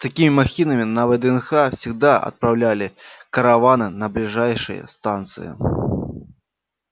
с такими махинами на вднх всегда отправляли караваны на ближайшие станции